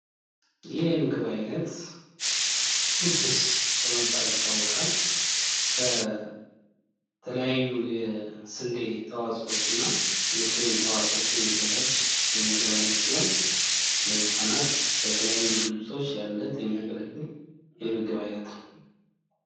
ይህ የምግብ አይነት ኩኪስ በመባል ይታወቃል። ከተለያዩ የስዴ ተዋፆዎችና የክሬም ተዋፆዎች የሚዘጋጅ የምግብ አይነት ሲሆን ለህፃናት ለተለያዩ ዝግጅቶች ለልደት የሚያገለግል የምግብ አይነት ነው።